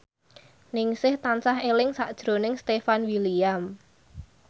Ningsih tansah eling sakjroning Stefan William